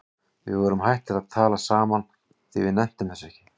Við vorum hættir að tala saman því við nenntum þessu ekki.